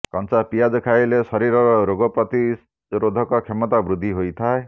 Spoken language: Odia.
କଞ୍ଚା ପିଆଜ ଖାଇଲେ ଶରୀରର ରୋଗ ପ୍ରତିରୋଧକ କ୍ଷମତା ବୃଦ୍ଧି ହୋଇଥାଏ